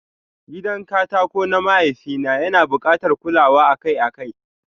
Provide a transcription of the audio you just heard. Gidan katako na mahaifi na yana bukatar kulawa akai-akai.